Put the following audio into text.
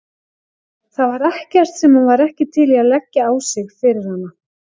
Það var ekkert sem hann var ekki til í að leggja á sig fyrir hana.